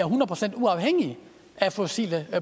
procent uafhængige af fossile